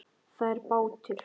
Það er bátur.